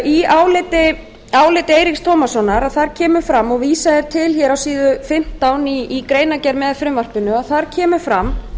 í áliti eiríks tómassonar kemur fram og vísað er til á síðu fimmtán í greinargerð með frumvarpinu þar kemur fram